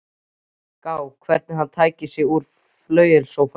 Gá hvernig hann tæki sig út í flauelssófanum.